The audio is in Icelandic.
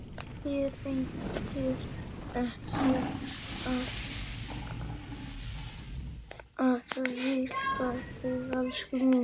Þér veitir ekki af að hvíla þig, elskan mín.